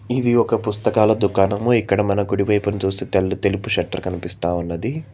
ఇది ఒక పుస్తకాల దుకాణము ఇక్కడ మన కుడివైపున చూస్తే తెల్ తెల్ల షట్టర్ కనిపిస్తా ఉన్నది.